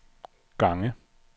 gange